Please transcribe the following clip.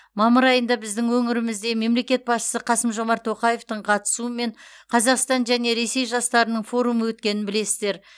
мамыр айында біздің өңірімізде мемлекет басшысы қасым жомарт тоқаевтың қатысуымен қазақстан және ресей жастарының форумы өткенін білесіздер